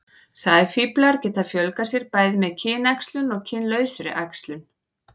sæfíflar geta fjölgað sér bæði með kynæxlun og kynlausri æxlun